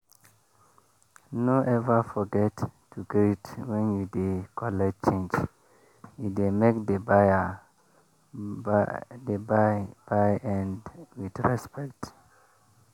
no ever forget to greet when you dey collect change e dey make the buy buy end with respect